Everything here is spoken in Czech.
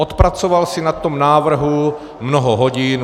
Odpracoval si na tom návrhu mnoho hodin.